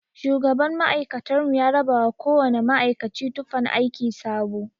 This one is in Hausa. Shugaban ma'aikatar mu ya rabawa kowana ma'aikaci tufan aiki sabo.